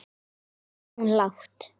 spurði hún lágt.